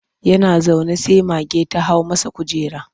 Yana zaune sai ga mage ta hau masa kujera.